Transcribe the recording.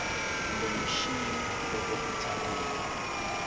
kumbe mixini loko u tshama